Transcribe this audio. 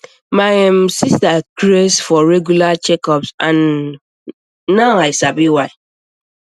my um sister dey craze for regular checkups and um now i sabi why